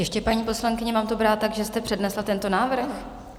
Ještě, paní poslankyně, mám to brát tak, že jste přednesla tento návrh?